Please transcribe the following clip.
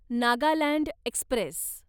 Nagaland Express